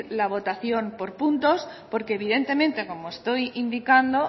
la votación por puntos porque evidentemente como estoy indicando